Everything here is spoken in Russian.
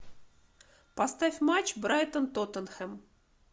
поставь матч брайтон тоттенхэм